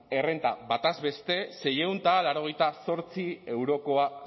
errenta batez beste seiehun eta laurogeita zortzi eurokoa